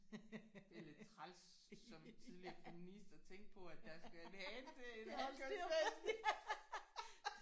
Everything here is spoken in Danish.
Det er lidt træls som tidligere feminist at tænke på at der skal en hane til at holde styr på